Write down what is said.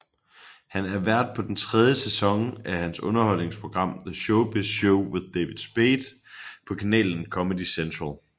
Han er vært på den tredje sæson af hans underholdningsprogram The Showbiz Show with David Spade på kanalen Comedy Central